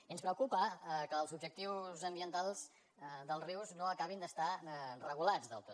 i ens preocupa que els objectius ambientals dels rius no acabin d’estar regulats del tot